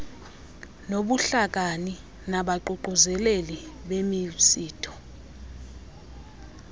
nobuhlakani nabaququzeleli bemisitho